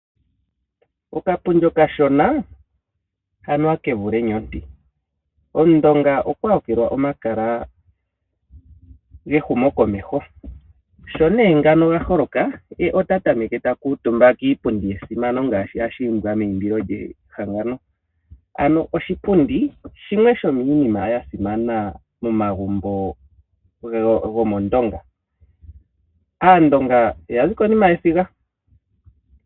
Okapundi okashona anuwa oke vule enyonti. Omundonga okwa yakula omakala gehumo komeho, sho nee ngano gaholoka ye ota tameke takuutumba kiipundi yesimano ngaashi hashi imbwa meyimbilo lyehangano. Ano oshipundi shimwe shomiinima yasimana momagumbo gomOndonga, Aandonga yazi konima yesiga.